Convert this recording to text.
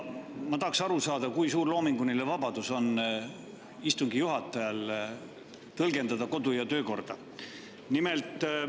Ma tahaksin aru saada, kui suur loominguline vabadus on istungi juhatajal kodu‑ ja töökorra tõlgendamisel.